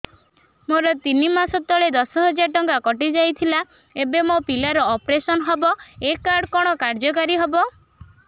ମୋର ତିନି ମାସ ତଳେ ଦଶ ହଜାର ଟଙ୍କା କଟି ଯାଇଥିଲା ଏବେ ମୋ ପିଲା ର ଅପେରସନ ହବ ଏ କାର୍ଡ କଣ କାର୍ଯ୍ୟ କାରି ହବ